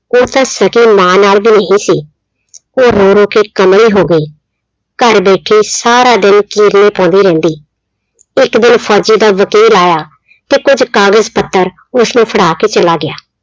ਉਹ ਤਾਂ ਸਕੀ ਮਾਂ ਨਾਲ ਵੀ ਨਹੀਂ ਸੀ, ਉਹ ਰੋ ਰੋ ਕੇ ਕਮਲੀ ਹੋ ਗਈ, ਘਰ ਬੈਠੀ ਸਾਰਾ ਦਿਨ ਪਾਉਂਦੀ ਰਹਿੰਦੀ, ਇੱਕ ਦਿਨ ਫ਼ੋਜ਼ੀ ਦਾ ਵਕੀਲ ਆਇਆ ਤੇ ਕੁੱਝ ਕਾਗਜ਼ ਪੱਤਰ ਉਸਨੂੰ ਫੜਾ ਕੇ ਚਲਾ ਗਿਆ।